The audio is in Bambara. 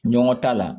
Ɲɔgɔn ta la